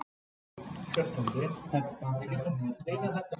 Fyrst þarf að kynna til sögunnar hormónið insúlín.